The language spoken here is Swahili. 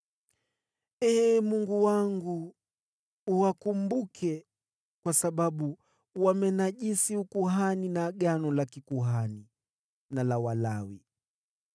Ee Mungu wangu, uwakumbuke, kwa sababu wamenajisi ukuhani, na agano la kikuhani na la Walawi.